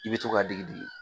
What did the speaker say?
I bɛ to k'a digi digi